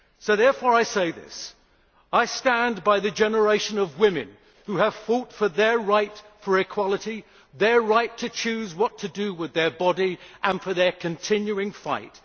Therefore I say this I stand by the generation of women who have fought for their right for equality, their right to choose what to do with their bodies and for their continuing fight.